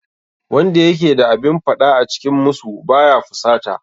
Wanda yake da abin faɗa a cikin musu ba ya fusata